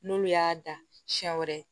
N'olu y'a dan siɲɛ wɛrɛ